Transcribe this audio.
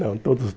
Não, todos